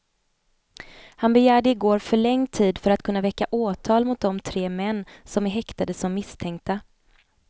Han begärde i går förlängd tid för att kunna väcka åtal mot de tre män som är häktade som misstänkta.